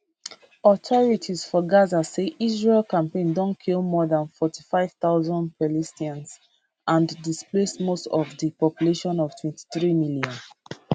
authorities for gaza say israel campaign don kill more dan 45000 palestinians and displace most of di population of 23 million